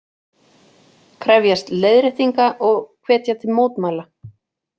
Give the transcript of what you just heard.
Krefjast leiðréttinga og hvetja til mótmæla